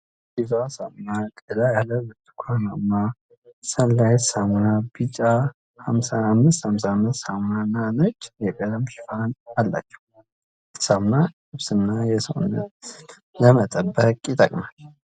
ዲቫ ሳሙና ቀላ ያለ ብርቱካናማ ፣ሰን ላይት ሳሙና ቢጫ ፣ 555 ሳሙና ነጭ የቀለም ሽፋን አላቸው። ሳሙና የልብስን እና የሰውነትን ንፅህና ለመጠበቅ ይጠቅመናል።